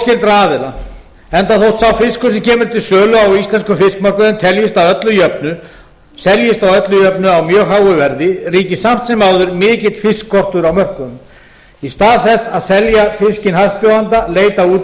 óskyldra aðila enda þótt sá fiskur sem kemur til sölu á íslenskum fiskmörkuðum seljist að öllu jöfnu á mjög háu verði ríkir samt sem áður mikill fiskskortur á mörkuðunum í stað þess að selja fiskinn hæstbjóðanda leita útgerðir